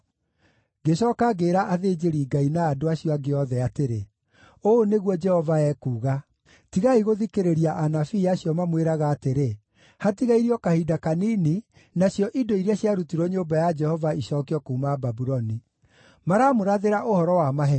Ngĩcooka ngĩĩra athĩnjĩri-Ngai na andũ acio angĩ othe atĩrĩ: “Ũũ nĩguo Jehova ekuuga: Tigai gũthikĩrĩria anabii acio mamwĩraga atĩrĩ, ‘Hatigairie o kahinda kanini, nacio indo iria ciarutirwo nyũmba ya Jehova icookio kuuma Babuloni.’ Maramũrathĩra ũhoro wa maheeni.